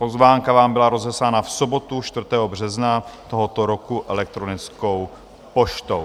Pozvánka vám byla rozeslána v sobotu 4. března tohoto roku elektronickou poštou.